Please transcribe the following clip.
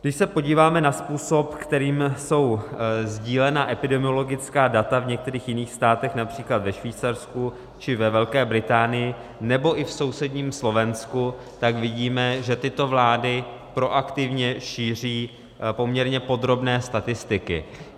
Když se podíváme na způsob, kterým jsou sdílena epidemiologická data v některých jiných státech, například ve Švýcarsku či ve Velké Británii nebo i v sousedním Slovensku, tak vidíme, že tyto vlády proaktivně šíří poměrně podrobné statistiky.